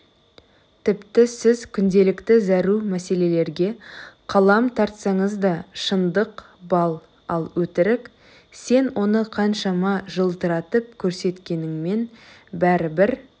тіпті сіз күнделікті зәру мәселелерге қалам тартсаңыз да шындық бал ал өтірік сен оны қаншама жылтыратып көрсеткеніңмен бәрібір